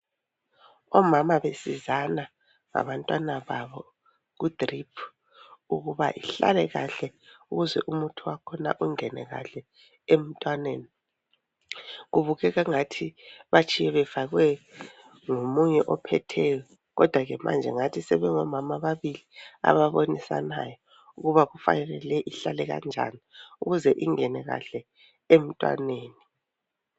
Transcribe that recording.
Omama besizana ngabantwana babo kudrip ukuba ihlale kahle ukuze umuthi wakhona ungene kahle emntwaneni. Kubukeka angathi batshiye befakwe ngomunye ophetheyo kodwa ke manje ngathi sebengomama ababili ababonisayo ukuba kufanele le ihlale kanjani ukuze ingene kahle emntwaneni.